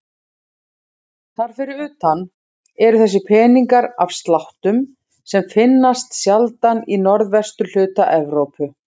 Þar fyrir utan eru þessir peningar af sláttum sem finnast sjaldan í norðvesturhluta Evrópu.